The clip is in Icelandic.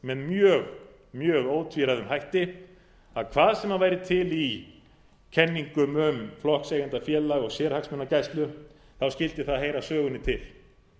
með mjög mjög ótvíræðum hætti að hvað sem væri til í kenningum um flokkseigendafélag og sérhagsmunagæslu skyldi það heyra sögunni til